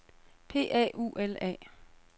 P A U L A